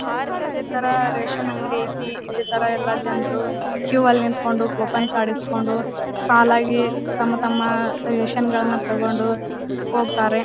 ನಮ್ಮೂರಲ್ಲಿ ಇದೆ ತರ ರೇಷನ್ ಅಂಗಡಿ ಐತೆ ಇದೆ ತರ ಎಲ್ಲ ಜನರು ಕಿವ್ ಅಲ್ಲಿ ನಿತ್ಕೊಂಡು ಕೂಪನ್ ಕಾರ್ಡ್ ಇಸ್ಕೊಂಡು ಸಾಲಾಗಿ ತಮ್ಮ ತಮ್ಮ ರೇಷನ್ ತಕೊಂಡು ಹೋಗ್ತಾರೆ.